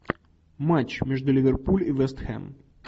матч между ливерпуль и вест хэм